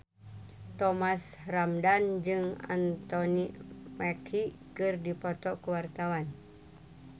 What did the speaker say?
Thomas Ramdhan jeung Anthony Mackie keur dipoto ku wartawan